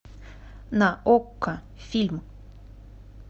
на окко фильм